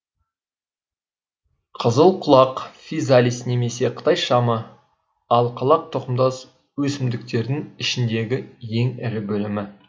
қызылқұлақ физалис немесе қытай шамы алқалар тұқымдас өсімдіктердің ішіндегі ең ірі бөлімі